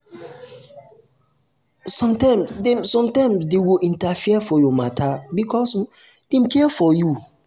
sometimes um dem sometimes um dem go interfere for your matter because um dem care for you.